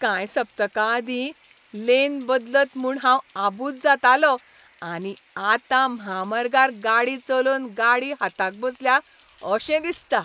कांय सप्तकां आदीं, लेन बदलत म्हूण हांव आबूज जातालों आनी आतां म्हामार्गार गाडी चलोवन गाडी हाताक बसल्या अशें दिसता.